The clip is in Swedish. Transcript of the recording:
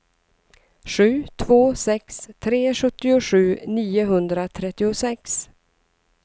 sju två sex tre sjuttiosju niohundratrettiosex